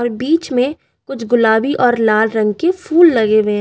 और बीच में कुछ गुलाबी और लाल रंग के फूल लगे हुए--